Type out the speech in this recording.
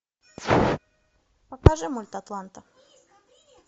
покажи мульт атланта